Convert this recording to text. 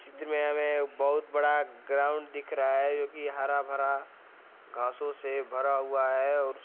चित्र मे बहुत बड़ा ग्राउंड दिख रहा है जो की हरा भरा घासों से भरा हुआ है और--